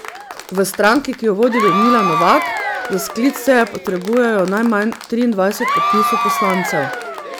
V stranki, ki jo vodi Ljudmila Novak, za sklic seje potrebujejo najmanj triindvajset podpisov poslancev.